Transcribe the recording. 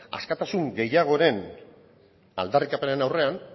askatasun gehiagoren aldarrikapenen aurrean